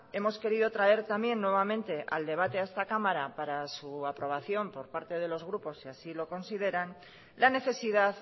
hemos querido traer también nuevamente al debate a esta cámara para su aprobación por parte de los grupos si así lo consideran la necesidad